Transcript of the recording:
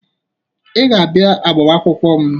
Ị ga-abịa agbamaakwụkwọ m